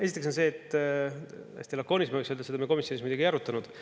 Esiteks on see, hästi lakooniliselt ma võiks öelda, et seda me komisjonis ei arutanud.